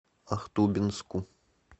ахтубинску